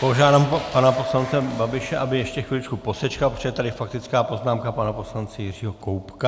Požádám pana poslance Babiše, aby ještě chviličku posečkal, protože je tady faktická poznámka pana poslance Jiřího Koubka.